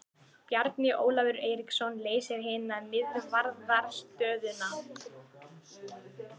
Bjarni Ólafur Eiríksson leysir hina miðvarðarstöðuna.